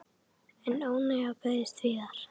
En óánægjan beinist víðar.